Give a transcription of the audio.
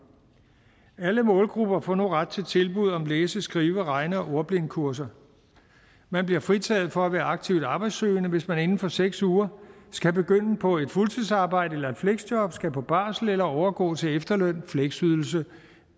alle målgrupper får nu ret til tilbud om læse skrive regne og ordblindekurser man bliver fritaget for at være aktivt arbejdssøgende hvis man inden for seks uger skal begynde på et fuldtidsarbejde eller et fleksjob skal på barsel eller overgå til efterløn fleksydelse